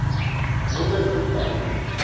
wonderfontein